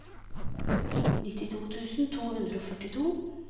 nittito tusen to hundre og førtito